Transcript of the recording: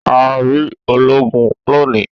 A ri oloogun loni.